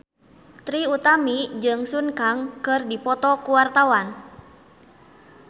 Trie Utami jeung Sun Kang keur dipoto ku wartawan